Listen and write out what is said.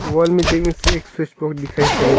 wall में देखने से एक स्विच बोर्ड दिखाई पड़े--